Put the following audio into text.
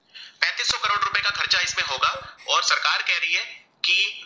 की दो